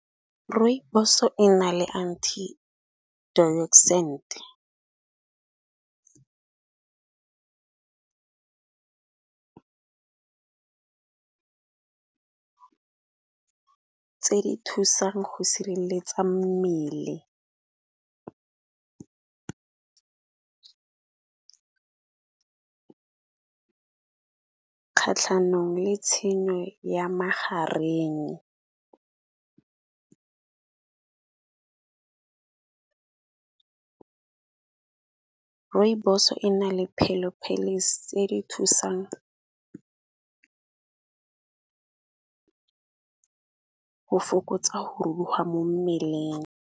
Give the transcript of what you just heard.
Rooibos-o e na le anti-oxidant tse di thusang go sireletsa mmele kgatlhanong le tshenyo ya magareng. Rooibos-o e na le phelophelisi tse di thusang go fokotsa go ruruga mo mmeleng.